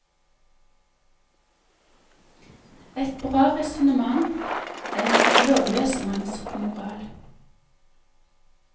Et bra resonnement, en lovløs manns moral.